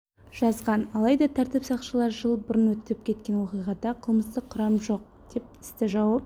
жазған алайда тәртіп сақшылары жыл бұрын өтіп кеткен оқиғада қылмыстық құрам жоқ деп істі жауып